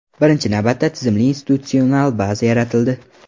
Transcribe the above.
Birinchi navbatda tizimli institutsional baza yaratildi.